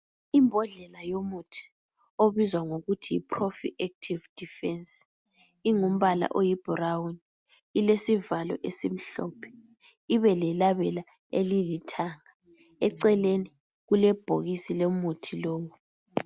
Imbodlela yomuthi obizwazwa ngokuthi yi Profi active defence ingumbala oyiBrown ilesivalo esimhlophe, ibe lelabela elilithanga eceleni kulebhokisi lomuthi lowo.